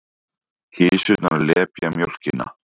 Kisurnar lepja mjólkina.